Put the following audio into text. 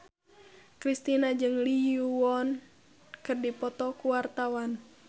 Kristina jeung Lee Yo Won keur dipoto ku wartawan